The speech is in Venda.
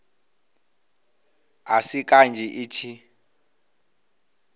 a si kanzhi i tshi